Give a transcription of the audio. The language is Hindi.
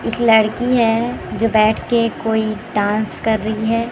एक लड़की है जो बैठके कोई डांस कर रही है।